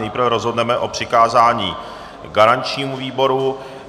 Nejprve rozhodneme o přikázání garančnímu výboru.